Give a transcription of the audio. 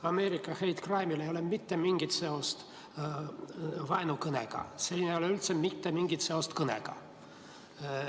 Ameerika hate crime'il ei ole mitte mingit seost vaenukõnega, siin ei ole üldse mitte mingit seost kõnega.